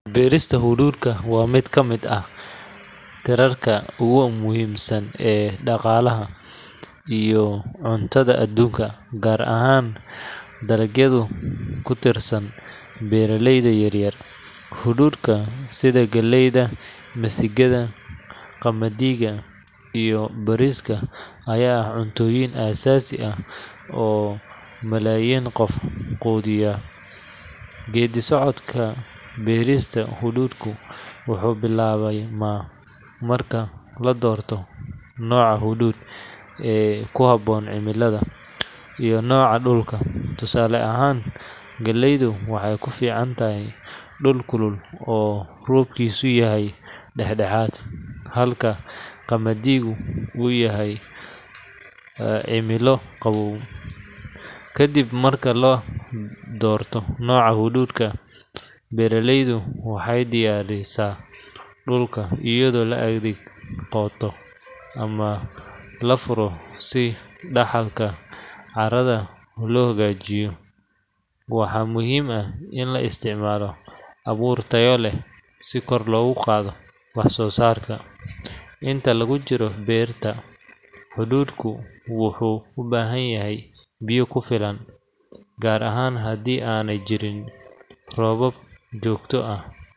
Berista subulka waa miid kamiid ah tirarka ogu muhiimsan ee daqalaha iyo cuntaada adunka gar ahan dalagyaadu kutirsan beera leyda yar yar hududka sitha galeyda misigaada qamaadiga iyo bariska waa cuntoyin asasi ah beerista huudka wuxuu bilawde, galeydu waxee ku ficantahy dul kulul, waxaa muhiim ah in la isticmalo aburka tayo leh si kor logu qadho wax sosarka inta lagu jiro beerta hududku wuxuu u bahanyahay gar ahan hadii ana jirin robab jogto ah.